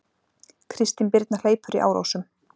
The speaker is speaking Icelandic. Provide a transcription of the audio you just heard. Kristin Birna hleypur í Árósum